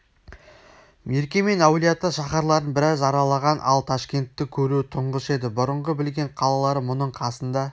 мерке мен әулиеата шаһарларын біраз аралаған ал ташкентті көруі тұңғыш еді бұрынғы білген қалалары мұның қасында